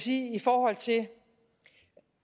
i forhold til